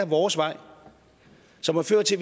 vores vej som har ført til